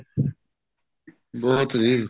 ਬਹੁਤ ਜੀ